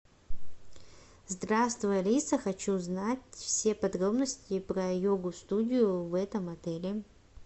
здравствуй алиса хочу узнать все подробности про йогу студию в этом отеле